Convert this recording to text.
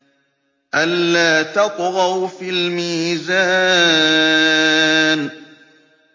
أَلَّا تَطْغَوْا فِي الْمِيزَانِ